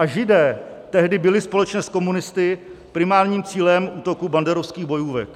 A Židé tehdy byli společně s komunisty primárním cílem útoku banderovských bojůvek.